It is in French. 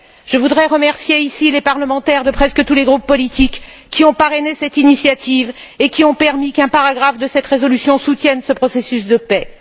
Je voudrais remercier ici les parlementaires de presque tous les groupes politiques qui ont parrainé cette initiative et qui ont permis qu'un paragraphe de cette résolution soutienne ce processus de paix.